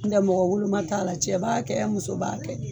Ntɛ mɔgɔ woloma t'a la, cɛ b'a kɛ muso b'a kɛ.